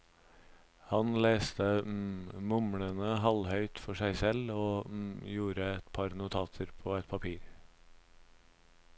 Han leste mumlende halvhøyt for seg selv og gjorde et par notater på et papir.